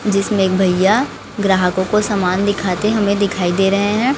जिसमें एक भईया ग्राहकों को सामान दिखाते हमें दिखाई दे रहे हैं।